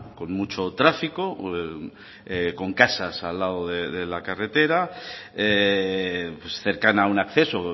con mucho tráfico con casas al lado de la carretera cercana a un acceso